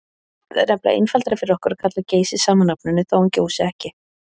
Það er nefnilega einfaldara fyrir okkur að kalla Geysi sama nafninu þótt hann gjósi ekki.